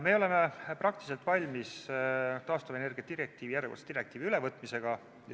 Me oleme praktiliselt valmis taastuvenergia direktiivi, järjekordse direktiivi ülevõtmiseks.